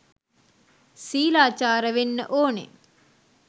සීලාචාර වෙන්න ඔනෙ